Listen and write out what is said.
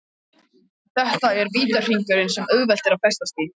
Þetta er vítahringur sem auðvelt er að festast í.